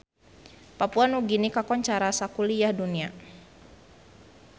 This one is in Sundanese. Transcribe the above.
Papua Nugini kakoncara sakuliah dunya